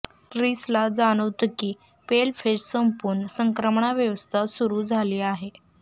ट्रिसला जाणवतं की पेलफेज संपून संक्रमणावस्था सुरू झाली आहे